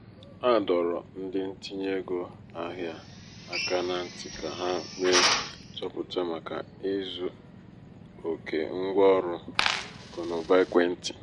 um site n'ịzụ ya ebe ọ um buru ibu ọ kpakọrọ pasenti iri atọ n'ego ọ gaara emefu na nri n'ọnwa. um